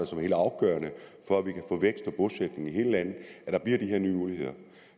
som helt afgørende for at vi kan få vækst og bosætning i hele landet at der bliver de her nye muligheder